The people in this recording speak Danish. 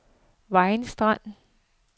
Vejers Strand